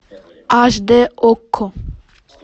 аш дэ окко